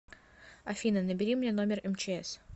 афина набери мне номер мчс